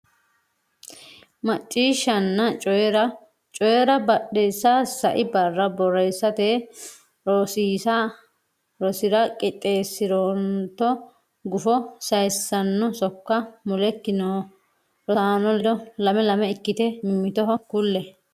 Macciishshanna Coyi’ra: Coyi’ra Biddissa Sai barra borreessate rosira qixxeessi’rootto gufo sayissanno sokka mulekki noo rosaano ledo lame lame ikkitine mimmitoho kulle.